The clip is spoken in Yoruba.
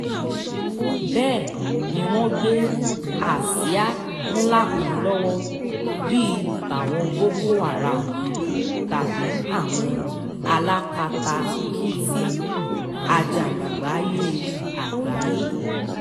bẹ́ẹ̀ ni wọ́n gbé àsíá ńlá kan lọ́wọ́ bíi tàwọn boko háráàmù tàbí àwọn alákatakítí àjàgbàgbé àgbáyé